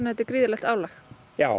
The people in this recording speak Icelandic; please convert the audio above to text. þetta er gríðarlegt álag já